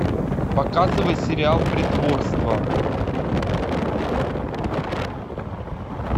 показывай сериал притворство